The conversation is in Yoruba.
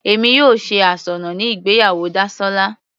Èmi yóò ṣe asọ́nà ní ìgbéyàwó Dasola.